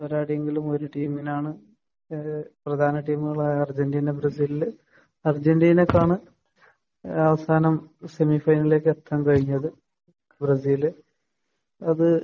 പോരാടിയെങ്കിലും ഒരു ടീമിനാണ് ഏഹ് പ്രധാന ടീമുകളായ അർജന്റീന, ബ്രസീലിൽ അർജന്റീനയ്ക്കാണ് ഏഹ് അവസാനം സെമിഫൈനലിലേക്ക് എത്താൻ കഴിഞ്ഞത്. ബ്രസീൽ അത്